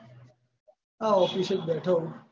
આ office જ બેઠો હું.